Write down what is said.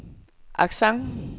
accent